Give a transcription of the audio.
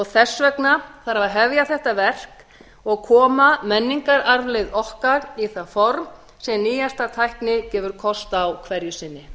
þess vegna þarf að hefja þetta verk og koma menningararfleifð okkar í það form sem nýjasta tækni gefur kost á hverju sinni